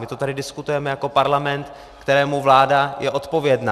My to tady diskutujeme jako parlament, kterému vláda je odpovědna.